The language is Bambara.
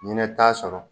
Ɲinɛ t'a sɔrɔ